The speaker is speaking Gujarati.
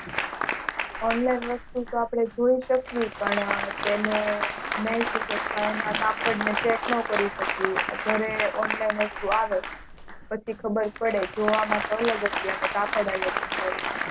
Online વસ્તુ આપણે જોય શકીયે પણ તેમાં કાપડ ને cheque ન કરી શકીયે અને ઘરે Online વસ્તુ આવે પછી ખબર પડે કે આમ અલગ હતું ને કાપડ પણ અલગ છે